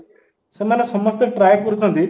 ସେମାନେ ସମସ୍ତେ try କରୁଛନ୍ତି